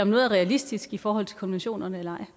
noget er realistisk i forhold til konventionerne eller